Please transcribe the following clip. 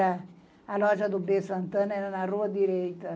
A loja do B. Santana era na rua direita.